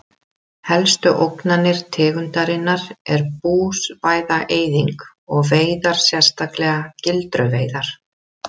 Helstu ógnanir tegundarinnar er búsvæða-eyðing og veiðar sérstaklega gildruveiðar.